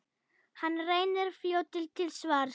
Hann reynist fljótur til svars.